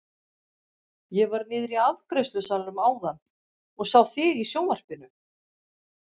Ég var niðri í afgreiðslusalnum áðan og sá þig í sjónvarpinu!